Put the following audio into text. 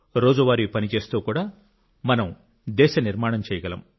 రోజువారీ పని చేస్తూ కూడా మనం దేశ నిర్మాణం చేయగలం